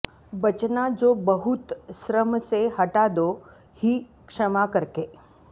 बचना जो बहुत श्रम से हटा दो ही क्षमा करके